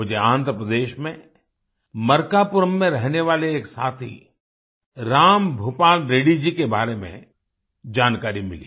मुझे आन्ध्र प्रदेश में मर्कापुरम में रहने वाले एक साथी राम भूपाल रेड्डी जी के बारे में जानकारी मिली